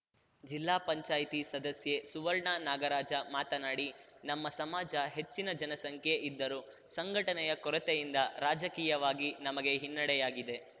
ಜಿಲ್ಲಾ ಪಂಚಾಯ್ತಿ ಸದಸ್ಯೆ ಸುವರ್ಣ ನಾಗರಾಜ ಮಾತನಾಡಿ ನಮ್ಮ ಸಮಾಜ ಹೆಚ್ಚಿನ ಜನಸಂಖ್ಯೆ ಇದ್ದರೂ ಸಂಘಟನೆಯ ಕೊರತೆಯಿಂದ ರಾಜಕೀಯವಾಗಿ ನಮಗೆ ಹಿನ್ನಡೆಯಾಗಿದೆ